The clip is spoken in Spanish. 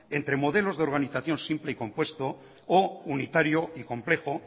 entre modelos de organización simple o compuesto o unitario y complejo